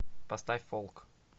поставь фолк